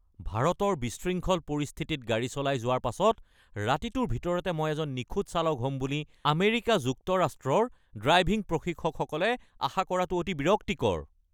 ভাৰতৰ বিশৃংখল পৰিস্থিতিত গাড়ী চলাই যোৱাৰ পাছত ৰাতিটোৰ ভিতৰতে মই এজন নিখুঁত চালক হ'ম বুলি আমেৰিকা যুক্তৰাষ্ট্ৰৰ ড্ৰাইভিং প্ৰশিক্ষকসকলে আশা কৰাটো অতি বিৰক্তিকৰ।